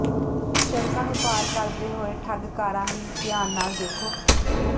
ਸੜਕਾਂ ਨੂੰ ਪਾਰ ਕਰਦੇ ਹੋਏ ਠੱਗ ਕਾਰਾਂ ਲਈ ਧਿਆਨ ਨਾਲ ਦੇਖੋ